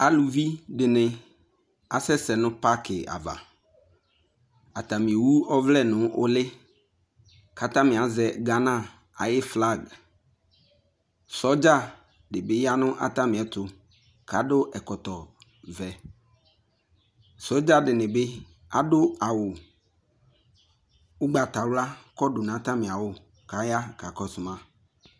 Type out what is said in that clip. Aluvi de ne asɛsɛ no paki ava Atame ewu ɔvlɛ no ule ko atame azɛ Gana aye flag Sodza de be ya no atame ɛto ko ado ɛkɔtɔvɛ Sodza de ne be ado awu ugbatawla kɔdu no atame awu ko aya kaa kɔso ma